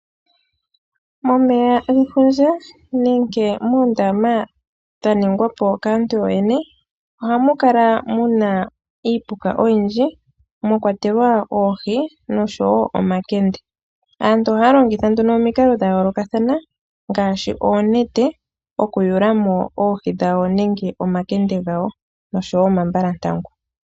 Momeya gefundja nenge moondama dha ningwa po kaantu yooyone ohamu kala muna iipuka oyindji mwa kwatelwa oohi nosho woo omakende. Aantu ohaya longitha nduno omikalo dhayoolokathana ngaashi oonete okuyulamo oohi dhawo nenge omakende gawo osho woo omambalantangu.